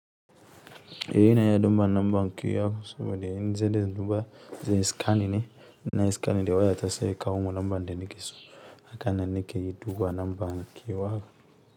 Ehh ina iya duba numba kiya saboda in zan duba inje inyi skanin ne na skani da waya ta sai ya kawo min namba de nike so haka nan nike yi duba numba na kewa.